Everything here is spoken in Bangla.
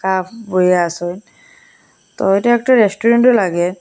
হাফ বইয়া আসেন তো এইটা একটা রেস্টুরেন্টও লাগে।